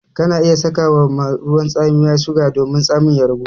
Kana iya saka ma ruwan tsamiya suga domin tsamin ya ragu.